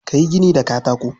Ka yi gini da katako.